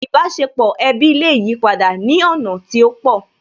Ìbáṣepọ̀ ẹbí lè yipadà ní ọ̀nà tí ó pọ̀